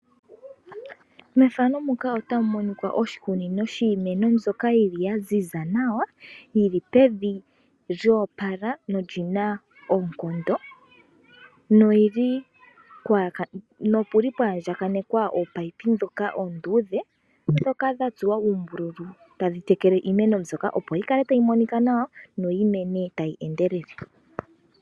Mefano muka ota mu monika oshikunino shiimeno mbyoka yili ya ziza nawa. Yili pevi lyo opala nolyina oonkondo. Nopuli pwa andjakanekwa opipe dhoka oonduudhe dhoka dhili dha tsuwa uumbululu. Tadhi tekele iimeno mbyoka opo yi kale tayi monika nawa noyi mene tayi endelele.